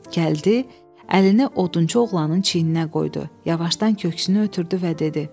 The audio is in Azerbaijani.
Gəldi, əlini odunçu oğlanın çiyninə qoydu, yanaşdan köksünü ötürdü və dedi: